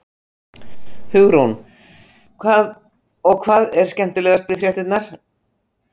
Hugrún: Og hvað er skemmtilegast við fréttirnar?